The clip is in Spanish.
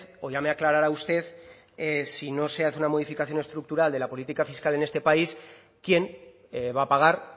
o ya me aclarará usted si no se hace una modificación estructural de la política fiscal en este país quién va a pagar